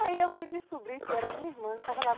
Aí eu fui descobrir que era minha irmã que estava lá.